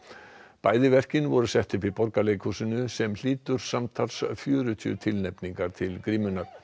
bæði verkin voru sett upp í Borgarleikhúsinu sem hlýtur samtals fjörutíu tilnefningar til grímunnar